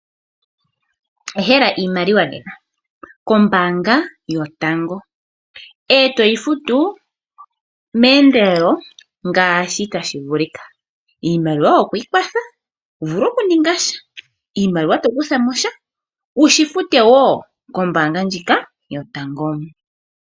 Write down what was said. Ehela iimaliwa kombaanga yotango wuvule okwii kwatha noku futa iinima yoye